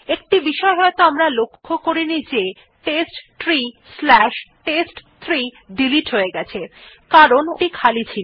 একটি বিষয় হয়তো আমরা লক্ষ্য করিনি যে testtreeটেস্ট3 ডিলিট হয়ে গেছে কারণ ওটি খালি ছিল